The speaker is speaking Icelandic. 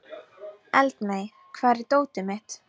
Eldmey, hvar er dótið mitt?